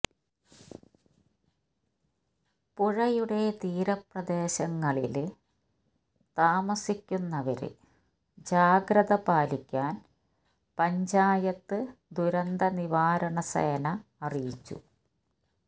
പുഴയുടെ തീരപ്രദേശങ്ങളില് താമസിക്കുന്നവര് ജാഗ്രത പാലിക്കാന് പഞ്ചായത്ത് ദുരന്തനിവാരണ സേന അറിയിച്ചു